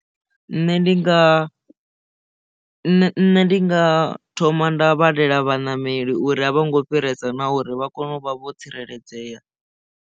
Nṋe ndi nga nṋe ndi nga thoma nda vhalela vhaṋameli uri a vho ngo fhiresa na uri vha kone u vha vho tsireledzea.